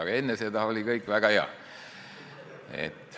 Aga enne seda oli kõik väga hea.